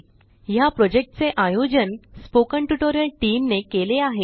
ह्या प्रॉजेक्टचे आयोजन स्पोकन ट्युटोरियल टीमने केले आहे